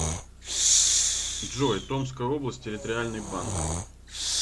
джой томская область территориальный банк